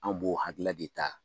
An b'o hakilila de ta